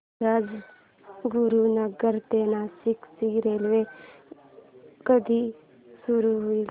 राजगुरूनगर ते नाशिक ची रेल्वेसेवा कधी सुरू होईल